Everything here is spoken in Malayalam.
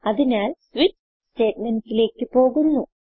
അതിനാൽ സ്വിച്ച് statementsലേക്ക് പോകുന്നു